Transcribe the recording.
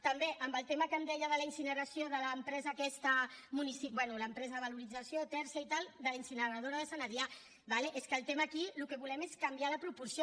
també en el tema que em deia de la incineració de l’empresa aquesta municipal bé l’empresa de valorització tersa i tal de la incineradora de sant adrià d’acord és que el tema aquí el que volem és canviar de proporció